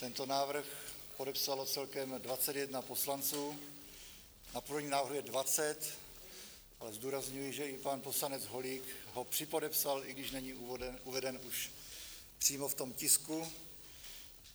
Tento návrh podepsalo celkem 21 poslanců, na původním návrhu je 20, ale zdůrazňuji, že i pan poslanec Holík ho připodepsal, i když není uveden už přímo v tom tisku.